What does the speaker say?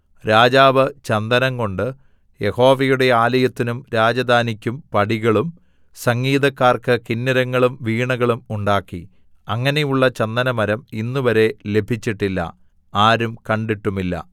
രാജാവ് ചന്ദനംകൊണ്ട് യഹോവയുടെ ആലയത്തിനും രാജധാനിക്കും പടികളും സംഗീതക്കാർക്ക് കിന്നരങ്ങളും വീണകളും ഉണ്ടാക്കി അങ്ങനെയുള്ള ചന്ദനമരം ഇന്നുവരെ ലഭിച്ചിട്ടില്ല ആരും കണ്ടിട്ടുമില്ല